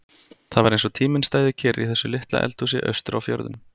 Það var eins og tíminn stæði kyrr í þessu litla eldhúsi austur á fjörðum.